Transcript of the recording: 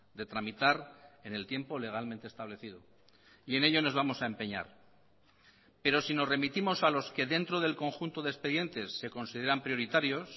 de tramitar en el tiempo legalmente establecido y en ello nos vamos a empeñar pero si nos remitimos a los que dentro del conjunto de expedientes se consideran prioritarios